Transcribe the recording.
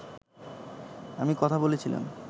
আমি কথা বলছিলাম